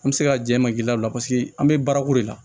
An bɛ se ka jɛ ma k'i la o la paseke an bɛ baarako de la